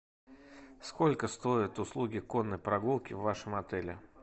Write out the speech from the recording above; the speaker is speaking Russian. сколько стоят услуги конной прогулки в вашем отеле